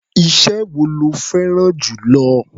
Iṣẹ́ wo lo fẹ́rá̀n jù lọ?